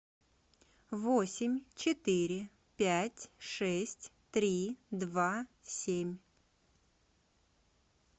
восемь четыре пять шесть три два семь